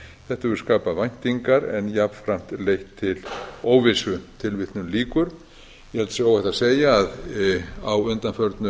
hefur skapað væntingar en jafnframt leitt til óvissu ég held að það sé óhætt að segja að á